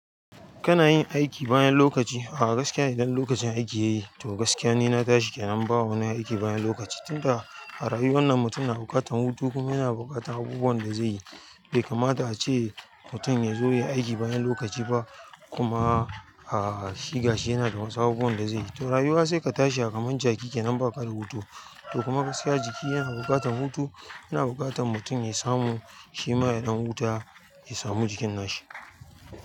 Kana yin aiki bayan lokaci? Ah gaskiya idan lokacin aiki yayi to gaskiya ni na tashi kenan ba wani aiki bayan lokaci. Tunda a rayuwar nan mutum yana buƙatan hutu kuma yana buƙatan abubuwan da zai yi. Bai kamata a ce mutum ya zo ya yi aiki bayan lokaci ba kuma, ah, shi ga shi yana da wasu abubuwan da zai yi. To rayuwa sai ka tashi a kamar jaki kenan baka da hutu to kuma gaskiya jiki yana buƙatan hutu, yana buƙatan mutum ya samu shi ma ya ɗan huta ya samu jikin nashi.